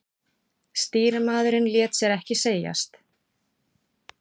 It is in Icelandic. Stýrimaðurinn lét sér ekki segjast.